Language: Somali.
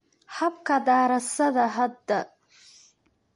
Habka Daraasadda Hadda